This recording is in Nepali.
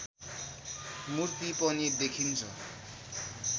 मूर्ति पनि देखिन्छ